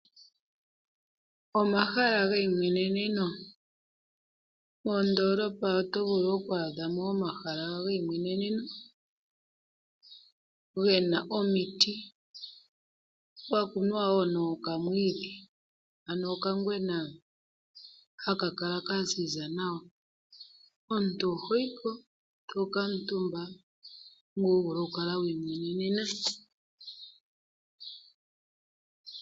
Moondolopa oto vulu okwaadhamo ehala lyeimweneneno, gena omiti po opwa kunwa wo nokamwiidhi, okangwena hono hakala kaziza nawa. Omuntu oto vulu ku kuutumba po eto kala wiimwenena.